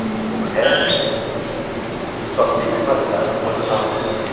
porque o resto só teve validade enquanto eu estava fazendo.